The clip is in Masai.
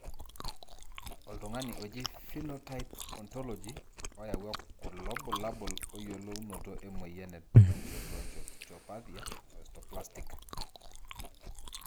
oltungani oji Phenotype Ontology oyawua kulo bulabula oyiolunoto emoyian e Tracheobronchopathia osteoplastica.